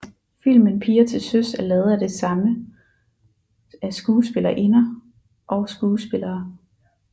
Filmen Piger til Søs er lavet af det samme af skuespillerinder og skuespillere